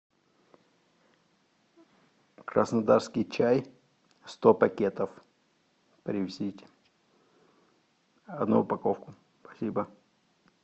краснодарский чай сто пакетов привезите одну упаковку спасибо